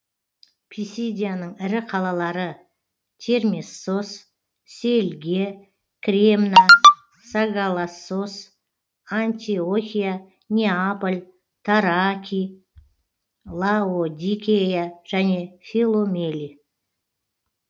писидияның ірі қалалары термессос сельге кремна сагалассос антиохия неаполь таракий лаодикея және филомелий